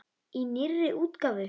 Í nýrri útgáfu!